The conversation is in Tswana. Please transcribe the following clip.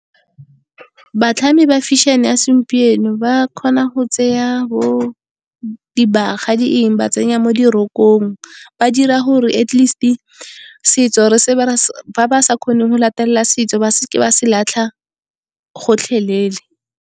Batlhami ba fashion-e ya segompieno ba kgona go tseya bo dibaga, di eng, ba tsenya mo dirokong, ba dira gore atleast setso ba ba sa kgoneng go latelela setso, ba seke ba se latlha gotlhelele.